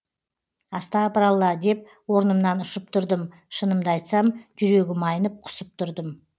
астапыралла деп орнымнан ұшып тұрдым шынымды айтсам жүрегім айнып құсып тұрдым